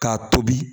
K'a tobi